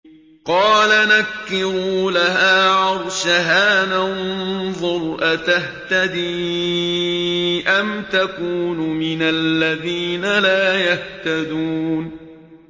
قَالَ نَكِّرُوا لَهَا عَرْشَهَا نَنظُرْ أَتَهْتَدِي أَمْ تَكُونُ مِنَ الَّذِينَ لَا يَهْتَدُونَ